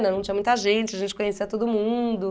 não tinha muita gente, a gente conhecia todo mundo.